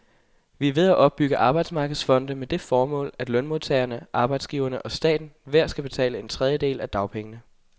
Vi er ved at opbygge arbejdsmarkedsfonde med det formål, at lønmodtagerne, arbejdsgiverne og staten hver skal betale en tredjedel af dagpengene.